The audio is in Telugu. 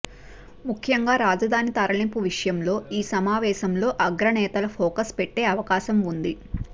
ముఖ్యంగా రాజధాని తరలింపు విషయంలో ఈ సమావేశంలో అగ్ర నేతలు ఫోకస్ పెట్టే అవకాశం ఉంది